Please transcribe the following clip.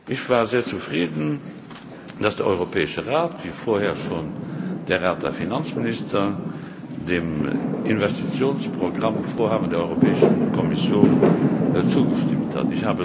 Ich war sehr zufrieden, dass der Europäische Rat wie vorher schon der Rat der Finanzminister dem Investitionsprogrammvorhaben der Europäischen Kommission zugestimmt hat.